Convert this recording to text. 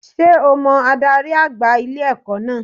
Sé o mo adarí àgbà ilé-ẹ̀kọ́ náà